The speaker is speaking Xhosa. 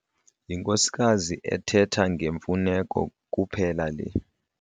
Yinkosikazi ethetha ngemfuneko kuphela le.